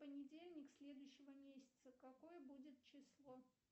понедельник следующего месяца какое будет число